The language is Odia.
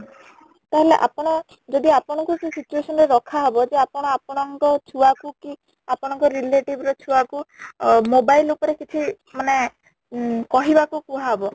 ତାହେଲେ ଆପଣ ଯଦି ଆପଣ ଙ୍କୁ ସେ situation ରେ ରଖା ହବ ଯେ ଆପଣ ଆପଣ ଙ୍କ ଛୁଆ କୁ କି ଆପଣ ଙ୍କ relative ଛୁଆ କୁ ଅ mobile ଉପରେ କିଛି ମାନେ ଉଁ କହିବାକୁ କୁହାହବ